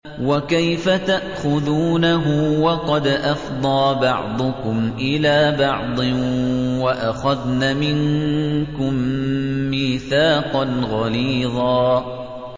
وَكَيْفَ تَأْخُذُونَهُ وَقَدْ أَفْضَىٰ بَعْضُكُمْ إِلَىٰ بَعْضٍ وَأَخَذْنَ مِنكُم مِّيثَاقًا غَلِيظًا